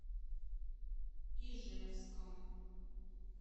ижевском